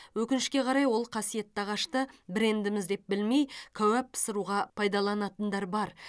өкінішке қарай ол қасиетті ағашты брендіміз деп білмей кәуап пысыруға пайдаланатындар бар